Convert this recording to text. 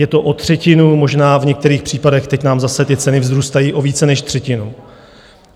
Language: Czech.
Je to o třetinu, možná v některých případech, teď nám opět ty ceny vzrůstají o více než třetinu.